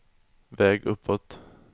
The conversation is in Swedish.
väg uppåt